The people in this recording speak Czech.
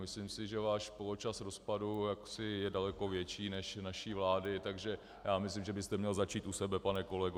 Myslím si, že váš poločas rozpadu je daleko větší než naší vlády, takže já myslím, že byste měl začít u sebe, pane kolego.